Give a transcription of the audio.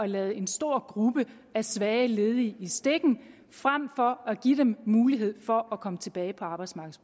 lade en stor gruppe svage ledige i stikken frem for at give dem mulighed for at komme tilbage på arbejdsmarkedet